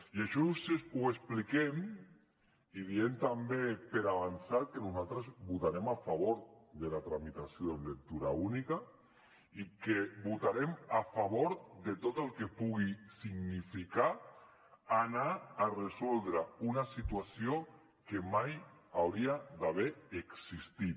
i això ho expliquem i diem també per avançat que nosaltres votarem a favor de la tramitació en lectura única i que votarem a favor de tot el que pugui significar anar a resoldre una situació que mai hauria d’haver existit